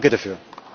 Danke dafür.